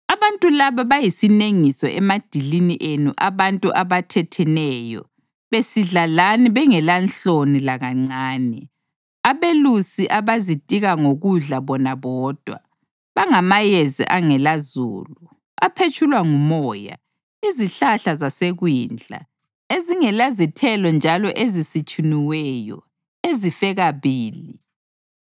Abantu laba bayisinengiso emadilini enu abantu abathetheneyo besidla lani bengelanhloni lakancane, abelusi abazitika ngokudla bona bodwa. Bangamayezi angelazulu, aphetshulwa ngumoya; izihlahla zasekwindla ezingelazithelo njalo ezisitshuniweyo, ezife kabili.